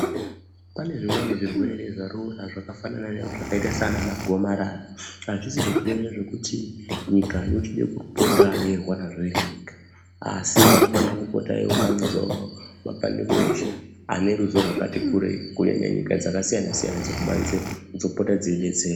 Pane zvimweni zvirwere zvarura zvakafanana seana gomarara azvisi zvirwere zvekuti nyika yochide kupota yeirwarazve iri yega asi inofana kupota yeiunganidza mapandiko eshe ane ruzivo rwakati kurwi kunyanya nyika dzakati siyane siyane dzekubanzeyo dzopota dzeidetsera .